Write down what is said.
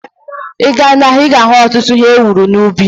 Ịga n'ahia, ịga ahu ọtụtụ ihe ewuru n'ubi